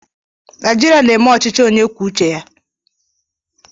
Naijiria na-eme ọchịchị onye kwuo uche ya